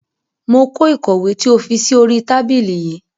Mo kó ìkọ̀wé tí o fi sí oríi tábìlì yii